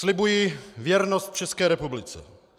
Slibuji věrnost České republice.